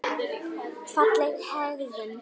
Fagleg hegðun.